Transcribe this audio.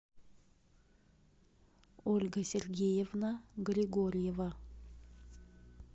ольга сергеевна григорьева